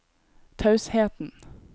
tausheten